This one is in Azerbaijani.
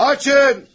Açın!